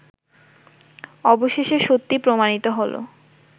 অবশেষে সত্যি প্রমাণিত হল